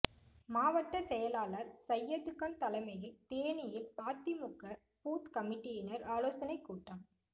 மாவட்ட செயலாளர் சையதுகான் தலைமையில் தேனியில் அதிமுக பூத் கமிட்டியினர் ஆலோசனை கூட்டம்